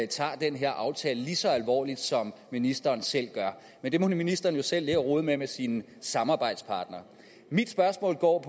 tager den her aftale lige så alvorligt som ministeren selv gør men det må ministeren jo selv ligge og rode med med sine samarbejdspartnere mit spørgsmål og